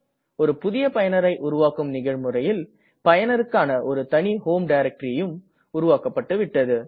ஒரு புதிய பயனரை உருவாக்கும் நிகழ்முறையில் பயனருக்கான ஒரு தனி homeடைரக்டரியும் உருவாக்கப்பட்டுவிட்டது